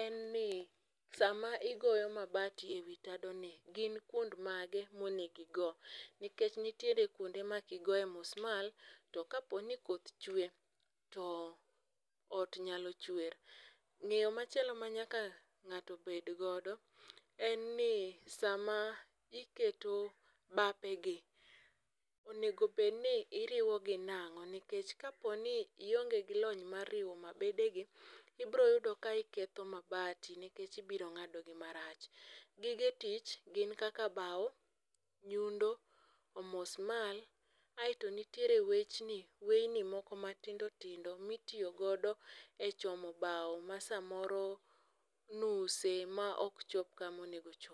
en ni sama igoyo mabati ewi tadoni, gin kuond mage mo nego igo nikech nitie kuonde ma kigoye musmal to ka koth chwe, to ot nyalo chwer. Ng'eyo machielo ma ng'ato nyaka bed godo, en ni sama iketo bapegi onego bed ni iriwogi nang'o nikech kaponi ionge gi loy mar riwo mabedegi ibiro yudo ka iketho mabede nikech ibiro ng'adogi marach. Gige tich gin kaka bao, nyundo omusmal kaeto nitiere wechni weyni moko matindo tindo mitiyo godo e chomo bao masomoro nuse maok chop kama onego ochopie